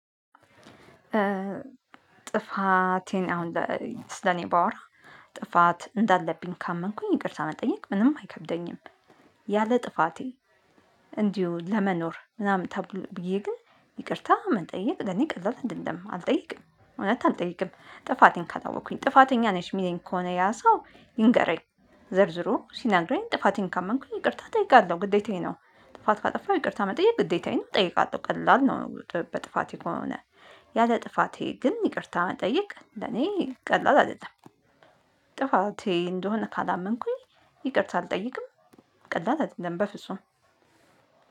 ጥፋቴን አሁን ስለ እኔ ባወራ ጥፋት እንዳለብኝ ካመንኩኝ ይቅርታ መጠየቅ ምንም አይከብደኝም። ያለ ጥፋቴ እንዲሁ ለመኖር ምናምን ተብሎ ብዬ ግን ይቅርታ መጠየቅ ለእኔ ቀላል አይደለም አልጠይቅም እውነት አልጠይቅም። ጥፋቴን ካላወቅኩኝ ጥፋተኛ ነሽ የሚለኝ ከሆነ ያ ሰው ይንገረኝ። ዘርዝሮ ሲነግረኝ ጥፋቴን ካመንኩኝ ይቅርታ እጠይቃለሁ ግዴታዬ ነው። ጥፋት ካጠፋሁ ይቅርታ መጠየቅ ግዴታዬ ነው እጠይቃለሁ ቀላል ነው። በጥፋቴ ከሆነ ያለ ጥፋቴ ግን ይቅርታ መጠየቅ ለእኔ ቀላል አይደለም። ጥፋቴ እንደሆነ ካላመንኩኝ ይቅርታ አልጠይቅም። ቀላል አይደለም በፍጹም